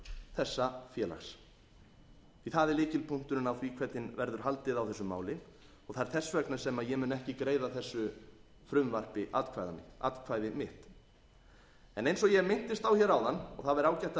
þessa félags því að það er lykilpunkturinn á því hvernig verður haldið á þessu máli það er þess vegna sem ég mun ekki greiða þessu frumvarpi atkvæði mitt eins og ég minntist á hér áðan og það væri ágætt